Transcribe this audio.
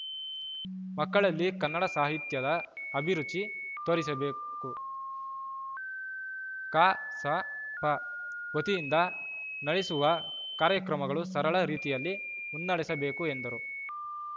ಮಕ್ಕಳಲ್ಲಿ ಕನ್ನಡ ಸಾಹಿತ್ಯದ ಅಭಿರುಚಿ ತೋರಿಸಬೇಕು ಕಸಾಪ ವತಿಯಿಂದ ನಡೆಸುವ ಕಾರ್ಯಕ್ರಮಗಳು ಸರಳ ರೀತಿಯಲ್ಲಿ ಮುನ್ನಡೆಸಬೇಕು ಎಂದರು